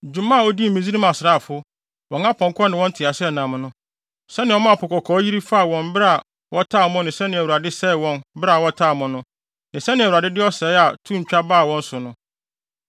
dwuma a odii Misraim asraafo, wɔn apɔnkɔ ne wɔn nteaseɛnam no; sɛnea ɔmaa Po Kɔkɔɔ yiri faa wɔn bere a wɔtaa mo no ne sɛnea Awurade sɛee wɔn bere a wɔtaa mo no; ne sɛnea Awurade de ɔsɛe a to ntwa baa wɔn so no.